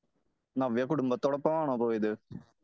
നവ്യ കുടുംബത്തോടൊപ്പം ആണോ പോയത് ?